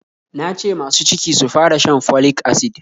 Na ce masu ciki sufara shan folic acid